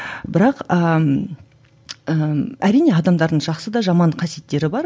бірақ ііі әрине адамдардың жақсы да жаман да қасиеттері бар